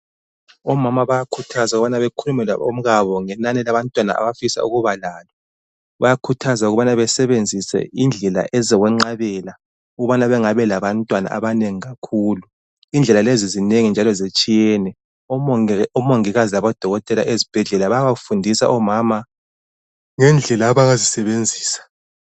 Omama bayakhuthazwa ukubana bekhulume labomkabo ngenani labantwana abafisa ukuba lalo. Bayakhuthazwa ukubana basebenzisa indlela ezokwenqabela ukubana bengabi labantwana abanengi kakhulu, indlela lezi zinengi njalo zitshiyene, omongikazi labodokotela bayabafundisa omama ngendlela abangazisebenzisa.